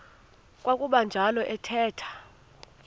kwakuba njalo athetha